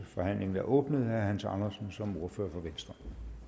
forhandlingen er åbnet herre hans andersen som ordfører for venstre